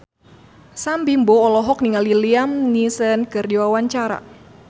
Sam Bimbo olohok ningali Liam Neeson keur diwawancara